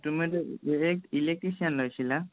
তোমাৰতো electrician লৈছিলা